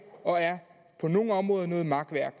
og på nogle områder er noget makværk